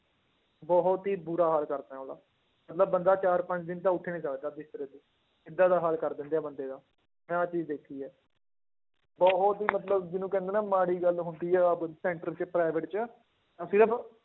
ਬਹੁਤ ਹੀ ਬੁਰਾ ਹਾਲ ਕਰਦੇ ਆ ਉਹਦਾ, ਮਤਲਬ ਬੰਦਾ ਚਾਰ ਪੰਜ ਦਿਨ ਤਾਂ ਉੱਠ ਹੀ ਨੀ ਸਕਦਾ ਬਿਸਤਰੇ ਤੋਂ ਏਦਾਂ ਦਾ ਹਾਲ ਕਰ ਦਿੰਦੇ ਆ ਬੰਦੇ ਦਾ, ਮੈਂ ਆਹ ਚੀਜ਼ ਦੇਖੀ ਹੈ, ਉਹ, ਉਹ ਚੀਜ਼ ਮਤਲਬ ਜਿਹਨੂੰ ਕਹਿੰਦੇ ਨਾ ਮਾੜੀ ਗੱਲ ਹੁੰਦੀ ਆ center 'ਚ private 'ਚ